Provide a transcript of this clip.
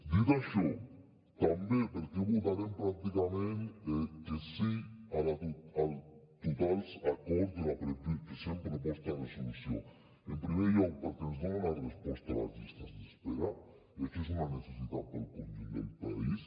dit això també per què votarem pràcticament que sí a tots els acords de la present proposta de resolució en primer lloc perquè ens dona una resposta a les llistes d’espera i això és una necessitat per al conjunt del país